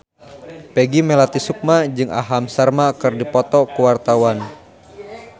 Peggy Melati Sukma jeung Aham Sharma keur dipoto ku wartawan